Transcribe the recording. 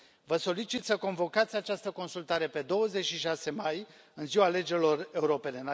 Vă solicit să convocați această consultare pe 26 mai, în ziua alegerilor europene.